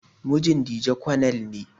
Mijin Dije konel ne.